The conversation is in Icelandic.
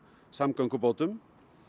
samgöngubótum